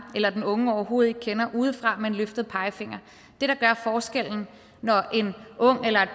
eller den unge overhovedet ikke kender udefra med en løftet pegefinger det der gør forskellen når en ung eller et